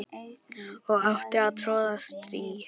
og átti að troða strý